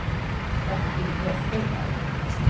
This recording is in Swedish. Bertil Westerberg